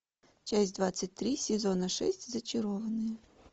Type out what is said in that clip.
часть двадцать три сезона шесть зачарованные